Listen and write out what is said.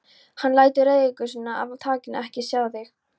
Hann lætur reiðigusuna af þakinu ekki á sig fá.